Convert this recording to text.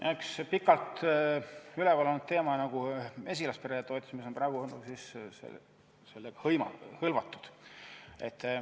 Eks see pikalt üleval olnud teema, mesilaspere toetamine, ole praegu sellega hõlmatud.